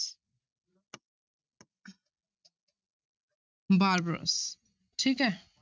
Barbarous ਠੀਕ ਹੈ।